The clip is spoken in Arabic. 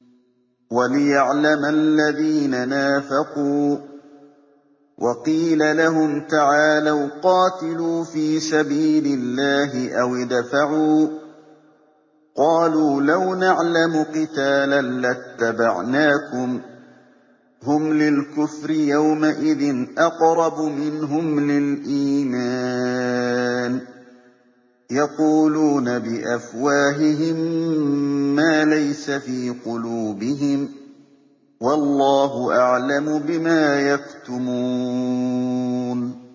وَلِيَعْلَمَ الَّذِينَ نَافَقُوا ۚ وَقِيلَ لَهُمْ تَعَالَوْا قَاتِلُوا فِي سَبِيلِ اللَّهِ أَوِ ادْفَعُوا ۖ قَالُوا لَوْ نَعْلَمُ قِتَالًا لَّاتَّبَعْنَاكُمْ ۗ هُمْ لِلْكُفْرِ يَوْمَئِذٍ أَقْرَبُ مِنْهُمْ لِلْإِيمَانِ ۚ يَقُولُونَ بِأَفْوَاهِهِم مَّا لَيْسَ فِي قُلُوبِهِمْ ۗ وَاللَّهُ أَعْلَمُ بِمَا يَكْتُمُونَ